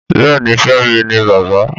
Bẹ́ẹ̀ni Femi ni bàbá